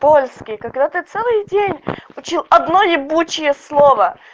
польский когда ты целый день учил одно ебучее слово